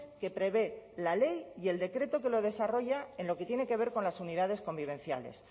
que prevé la ley y el decreto que lo desarrolla en lo que tiene que ver con las unidades convivenciales